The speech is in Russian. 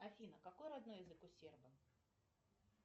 афина какой родной язык у сербов